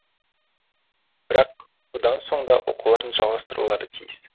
бірақ бұдан соң да оқуларын жалғастырулары тиіс